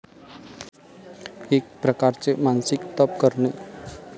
एक प्रकारचे मानसिक तप करणे.